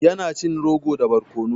Ya na cin rogo da barkono.